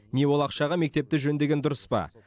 не ол ақшаға мектепті жөндеген дұрыс па